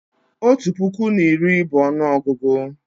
Otu puku na iri bụ ọnụọgụgụ